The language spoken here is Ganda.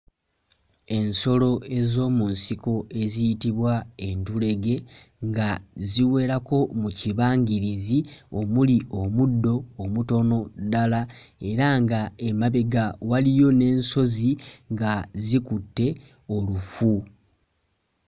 Ensolo ez'omu nsiko eziyitibwa entulege nga ziwerako mu kibangirizi omuli omuddo omutono ddala era nga emabega waliyo n'ensozi nga zikutte olufu.